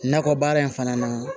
Nakɔ baara in fana na